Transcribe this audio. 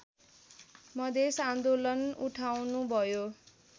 मधेस आन्दोलन उठाउनुभयो